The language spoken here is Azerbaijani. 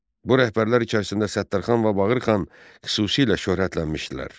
Bu rəhbərlər içərisində Səttərxan və Bağırxan xüsusilə şöhrətlənmişdilər.